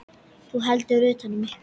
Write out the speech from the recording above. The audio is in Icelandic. Þú heldur utan um mig.